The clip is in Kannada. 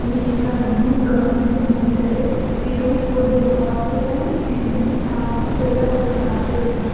ಈ ಚಿತ್ರವನ್ನು ಗಮನಿಸಿ ನೋಡಿದರೆ ಇದು ಒಂದು ಹಾಸ್ಪಿಟಲ್ ಎಂದು ನಾವು ಹೇಳಬಹುದಾಗಿದೆ.